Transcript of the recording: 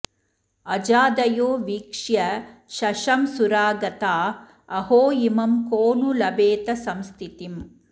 अजादयो वीक्ष्य शशंसुरागता अहो इमं को नु लभेत संस्थितिम्